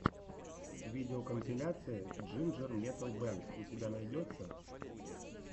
видеокомпиляция джинджер метал бэнд у тебя найдется